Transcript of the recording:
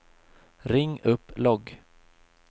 ring upp logg